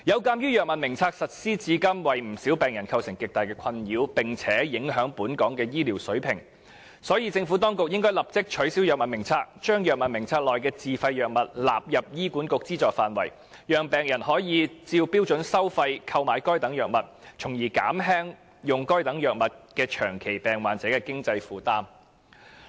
鑒於《藥物名冊》實施至今，為不少病人構成極大困擾，並且影響本港的醫療水平，所以政府當局應立即取消《藥物名冊》，將《藥物名冊》內的自費藥物納入醫院管理局資助範圍，讓病人可以按標準收費購買藥物，從而減輕長期病患者在用藥上的經濟負擔。